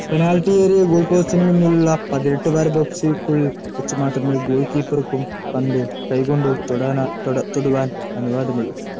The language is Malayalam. പെനാൽറ്റി ഏരിയ ഗോൾ പോസ്റ്റിനു മുന്നിലുള്ള പതിനെട്ട് വാര ബോക്സ്‌യ്ക്കുള്ളിൽ വച്ചു മാത്രമേ ഗോൾ കീപ്പർക്കും പന്തു കൈകൊണ്ടു തൊടാൻ തൊടുവാൻ അനുവാദമുള്ളു.